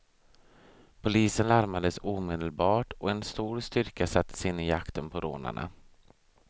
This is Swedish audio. Polisen larmades omedelbart och en stor styrka sattes in i jakten på rånarna.